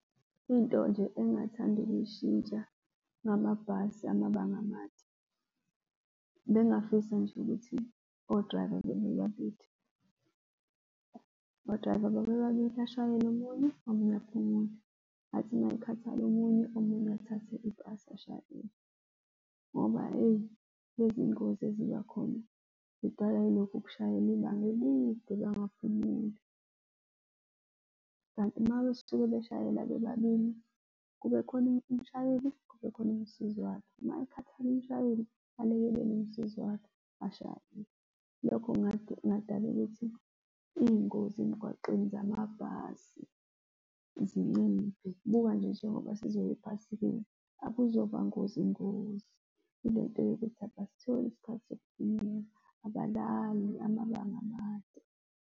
Into nje engathanda ukuyishintsha ngamabhasi amabanga amade, bengingafisa nje ukuthi o-driver o-driver babe babili. Ashayele omunye, omunye aphumule. Athi uma ekhathala omunye, omunye athathe ibhasi ashayele, ngoba eyi lezi ngozi eziba khona zidalawa yilokhu ukushayela ibanga elide bangaphumuli. Kanti uma besuke beshayela bebabili, kube khona umshayeli, kube khona umsizi wakhe, uma ekhathala umshayeli, alekelele umsizi wakhe ashayele. Lokho kungadala ukuthi iy'ngozi emgwaqeni zamabhasi zinciphe, njengoba nje, njengoba sizoya ephasikeni, akuzoba ngozi, ngozi ile nto yokuthi abasitholi isikhathi sokuphumela. Abalali amabanga amade.